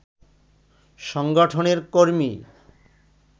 সংগঠনের কর্মী